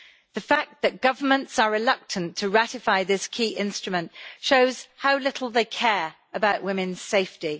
The fact that governments are reluctant to ratify this key instrument shows how little they care about women's safety.